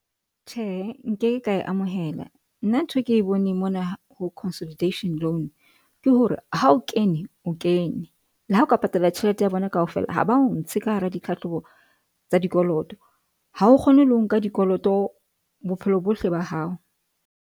Tjhe, nkeke ka e amohela nna nthwe ke e boneng mona ho consolidation loan. Ke hore ha o kene o kene le ha oka patala tjhelete ya bona kaofela. Ha ba o ntshe ka hara ditlhahlobo tsa dikoloto ha o kgone le ho nka dikoloto bophelo bohle ba hao.